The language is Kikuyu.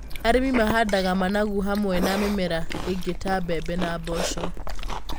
Arĩmi mahandaga managu hamwe na mĩmera ĩngĩ ta mbembe na mboco.